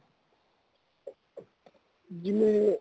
news